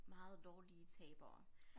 Meget dårlige tabere